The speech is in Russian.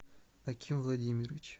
аким владимирович